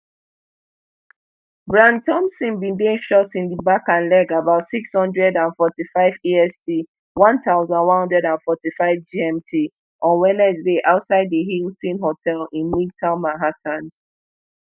brian thompson bin dey shot in di back and leg about six hundred and forty-five est one thousand, one hundred and forty-five gmt on wednesday outside di hilton hotel in midtown manhattan